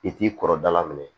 I t'i kɔrɔbala minɛ